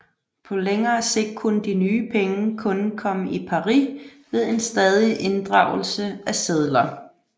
På længere sigt kunne de nye penge kun komme i pari ved en stadig inddragelse af sedler